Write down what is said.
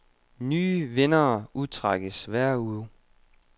Nye vindere udtrækkes hver uge.